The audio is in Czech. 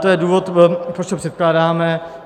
To je důvod, proč to předkládáme.